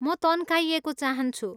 म तन्काइएको चाहन्छु।